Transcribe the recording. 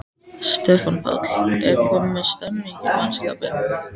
Stefán Páll: Er komin stemning í mannskapinn?